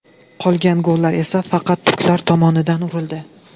Qolgan gollar esa faqat turklar tomonidan urildi.